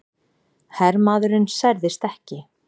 Hermaðurinn særðist ekki